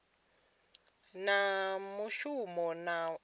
fana na mushumo na huhuwedzo